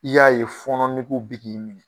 I y'a ye fɔnɔn negew be k'i minɛ